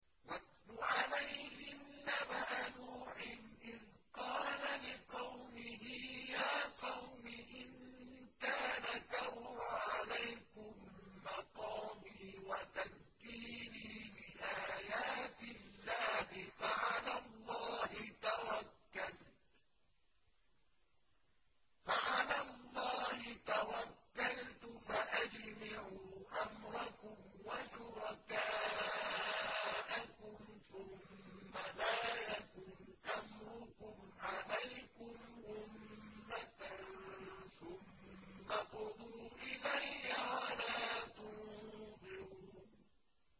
۞ وَاتْلُ عَلَيْهِمْ نَبَأَ نُوحٍ إِذْ قَالَ لِقَوْمِهِ يَا قَوْمِ إِن كَانَ كَبُرَ عَلَيْكُم مَّقَامِي وَتَذْكِيرِي بِآيَاتِ اللَّهِ فَعَلَى اللَّهِ تَوَكَّلْتُ فَأَجْمِعُوا أَمْرَكُمْ وَشُرَكَاءَكُمْ ثُمَّ لَا يَكُنْ أَمْرُكُمْ عَلَيْكُمْ غُمَّةً ثُمَّ اقْضُوا إِلَيَّ وَلَا تُنظِرُونِ